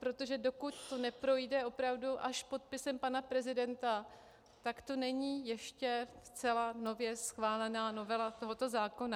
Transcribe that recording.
Protože dokud to neprojde opravdu až podpisem pana prezidenta, tak to není ještě zcela nově schválená novela tohoto zákona.